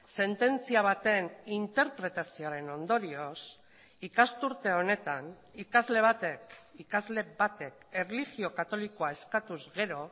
sententzia baten interpretazioaren ondorioz ikasturte honetan ikasle batek ikasle batek erlijio katolikoa eskatuz gero